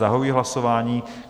Zahajuji hlasování.